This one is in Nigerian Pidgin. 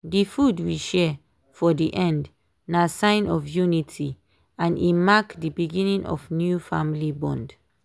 dey food we share for dey end na sign of unity and e mark dey beginning of new family bond.